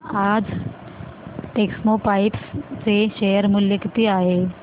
आज टेक्स्मोपाइप्स चे शेअर मूल्य किती आहे